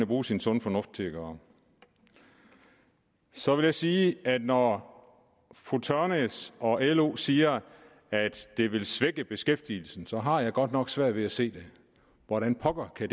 bruge sin sunde fornuft til at gøre så vil jeg sige at når fru tørnæs og lo siger at det vil svække beskæftigelsen så har jeg godt nok svært ved at se hvordan pokker det